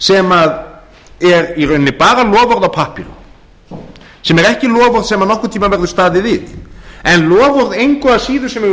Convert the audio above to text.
sem er í rauninni bara loforð á pappírum sem er ekki loforð sem nokkurn tíma verður staðið við en loforð engu að síður sem hefur